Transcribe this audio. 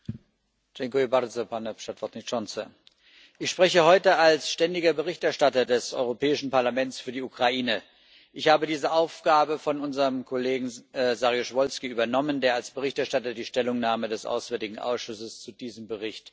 Herr Präsident! Ich spreche heute als ständiger Berichterstatter des Europäischen Parlaments für die Ukraine. Ich habe diese Aufgabe von unserem Kollegen Saryusz Wolski übernommen, der als Berichterstatter die Stellungnahme des Auswärtigen Ausschusses zu diesem Bericht verfasst hatte.